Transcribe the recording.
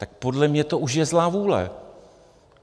Tak podle mě už je to zlá vůle.